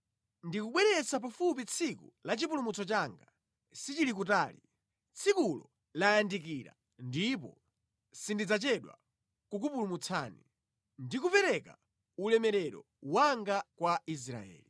Ndikubweretsa pafupi tsiku la chipulumutso changa; sichili kutali. Tsikulo layandikira ndipo sindidzachedwa kukupulumutsani ndi kupereka ulemerero wanga kwa Israeli.